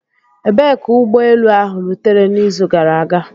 Ebee ka ụgbọ elu ahụ rutere n'izu gara aga?